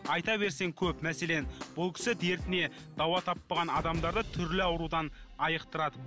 айта берсең көп мәселен бұл кісі дертіне дауа таппаған адамдарды түрлі аурудан айықтырады